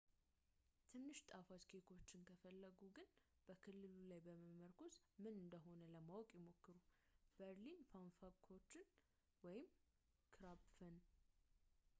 ትንሽ ጣፋጭ ኬክዎችን ከፈለጉ ግን በክልሉ ላይ በመመርኮዝ ምን እንደ ሆነ ለማወቅ ይሞክሩ በርሊነር ፓፋንኩቸን ወይም ክራፕፈን